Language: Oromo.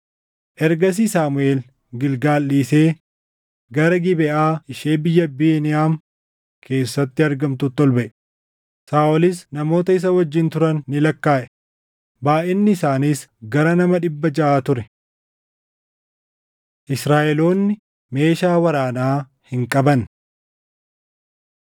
Ergasii Saamuʼeel Gilgaal dhiisee gara Gibeʼaa ishee biyya Beniyaam keessatti argamtuutti ol baʼe; Saaʼolis namoota isa wajjin turan ni lakkaaʼe. Baayʼinni isaaniis gara nama dhibba jaʼa ture. Israaʼeloonni Meeshaa Waraanaa Hin Qabanne